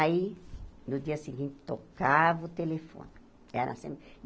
Aí, no dia seguinte, tocava o telefone. Era